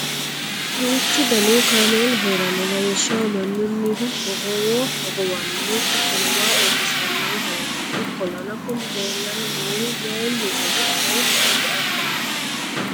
duuchu danihu kaameelu heeranno lawishshaho mannunnihu hogowo hogowannohu hattono waa iilishannohu heeranno, ikkolana kuni leelanni noohu mayiinihoro afootto ati addaara?